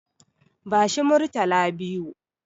Bashi Murtala biyu.